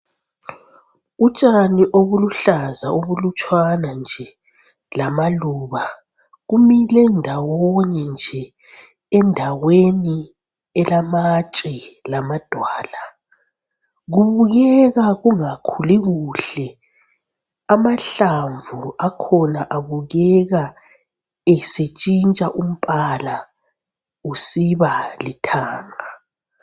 Utshani obuluhlaza obulutshwana nje lamaluba. Kumile ndawonye nje endaweni elamatshe lamadwala, kubukeka kungakhuli kuhle. Amahlamvu akhona abukeka esetshintsha umbala usiba lithanga.